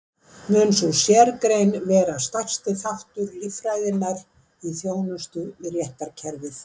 Mun sú sérgrein vera stærsti þáttur líffræðinnar í þjónustu við réttarkerfið.